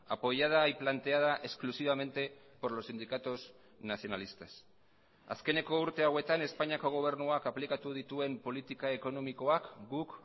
apoyada y planteada exclusivamente por los sindicatos nacionalistas azkeneko urte hauetan espainiako gobernuak aplikatu dituen politika ekonomikoak guk